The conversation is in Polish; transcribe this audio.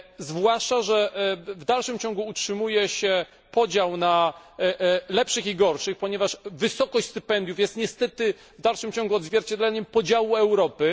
Zwłaszcza że w dalszym ciągu utrzymuje się podział na lepszych i gorszych, ponieważ wysokość stypendiów jest niestety w dalszym ciągu odzwierciedleniem podziału Europy.